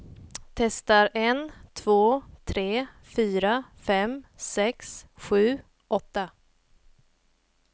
Testar en två tre fyra fem sex sju åtta.